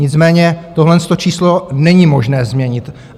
Nicméně tohleto číslo není možné změnit.